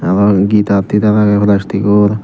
guitar titar agey plastic or.